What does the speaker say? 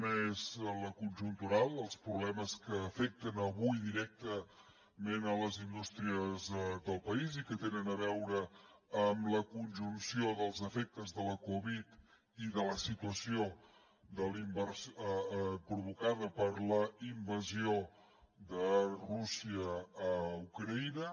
una és la conjuntural els problemes que afecten avui directament les indústries del país i que tenen a veure amb la conjunció dels efectes de la covid i de la situació provocada per la invasió de rússia a ucraïna